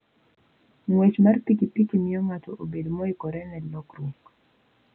Ng'wech mar pikipiki miyo ng'ato bedo moikore ne lokruok.